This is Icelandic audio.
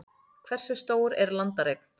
hversu stór er landareign